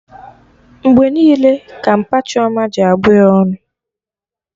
Mgbe niile ka mpa Chioma ji abụ ya ọnụ